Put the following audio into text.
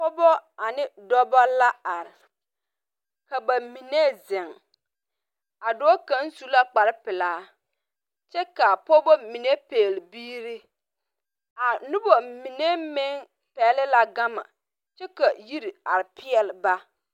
Pɔgba ane dɔba la arẽ kaba mene zeng a doɔ kanga su la kpare pelaa kye ka a pɔgba mene pegle biiri a nuba mene meng pegli la gama kye ka yiri arẽ peele ba.